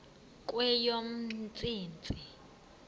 kweyomntsintsi